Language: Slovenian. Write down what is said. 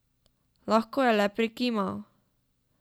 Lahko je le prikimal.